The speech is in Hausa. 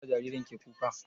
Me ya sa jaririn ki kuka?